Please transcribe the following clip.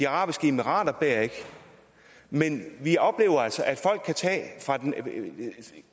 arabiske emirater bærer ikke men vi oplever altså at folk